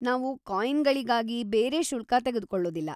ನಾವು ಕಾಯಿನ್‌ಗಳಿಗಾಗಿ ಬೇರೆ ಶುಲ್ಕ ತೆಗೆದ್ಕೊಳೊದಿಲ್ಲ.